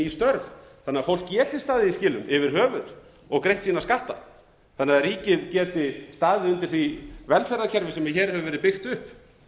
störf þannig að fólk geti staðið í skilum yfir höfuð og greitt sína skatta þannig að ríkið geti staðið undir því velferðarkerfi sem hér hefur verið byggt upp